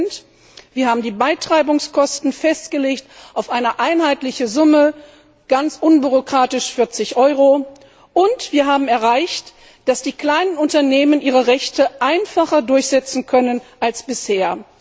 8 Wir haben die Beitreibungskosten auf eine einheitliche Summe festgelegt, ganz unbürokratisch 40 Euro, und wir haben erreicht, dass die kleinen Unternehmen ihre Rechte einfacher durchsetzen können als bisher.